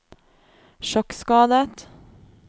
sjokkskadet